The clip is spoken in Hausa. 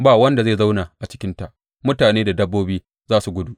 Ba wanda zai zauna a cikinta; mutane da dabbobi za su gudu.